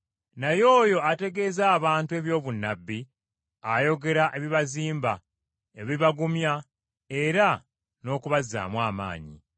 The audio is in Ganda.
Naye oyo ategeeza abantu eby’obunnabbi ayogera ebibazimba, ebibagumya era n’okubazzaamu amaanyi.